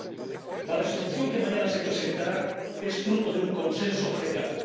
La propuesta de Resolución que mañana se presentará es fruto de un consenso general.